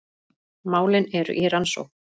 Málin eru í rannsókn